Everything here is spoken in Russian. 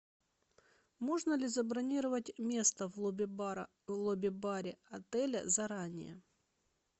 можно ли забронировать место в лобби бара в лобби баре заранее